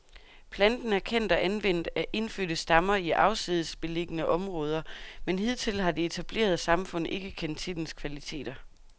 Planten er kendt og anvendt af indfødte stammer i afsides beliggende områder, men hidtil har det etablerede samfund ikke kendt til dens kvaliteter.